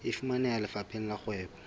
e fumaneha lefapheng la kgwebo